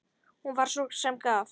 Hún var sú sem gaf.